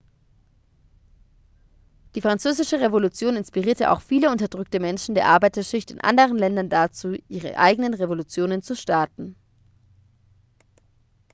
die französische revolution inspirierte auch viele unterdrückte menschen der arbeiterschicht in anderen ländern dazu ihre eigenen revolutionen zu starten